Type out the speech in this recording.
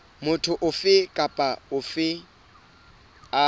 motho ofe kapa ofe a